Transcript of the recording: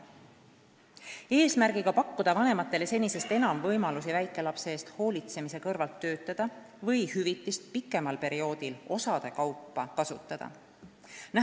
Eesmärk on pakkuda vanematele senisest enam võimalusi väikelapse eest hoolitsemise kõrvalt töötada või hüvitist pikemal perioodil osade kaupa kasutada.